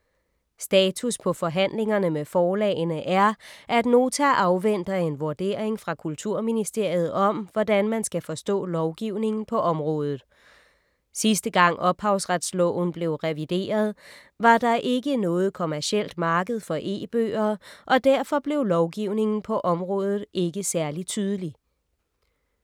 Status på forhandlingerne med forlagene er, at Nota afventer en vurdering fra Kulturministeriet om, hvordan man skal forstå lovgivningen på området. Sidste gang Ophavsretsloven blev revideret, var der ikke noget kommercielt marked for e-bøger, og derfor blev lovgivningen på området ikke særlig tydelig.